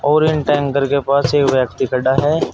और इन टैंकर के पास एक व्यक्ति खड़ा है।